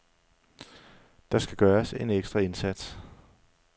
Der skal gøres en ekstra indsats.